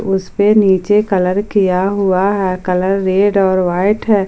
इसपे नीचे कलर किया हुआ है कलर रेड और व्हाइट है।